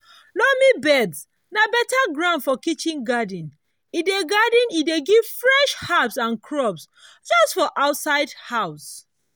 loamy beds na beta ground for kitchen garden e dey garden e dey give fresh herbs and crops just for outside house.